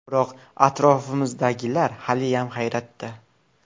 Biroq, atrofimizdagilar haliyam hayratda”.